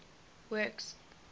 works